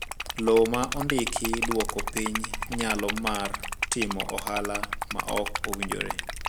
Lowo ma ondiki dwoko piny nyalo mar timo ohala ma ok owinjore.